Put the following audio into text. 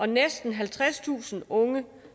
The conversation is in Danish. næsten halvtredstusind unge